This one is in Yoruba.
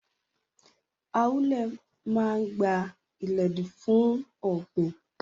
Ahule maa gba-iledi fun ogbin.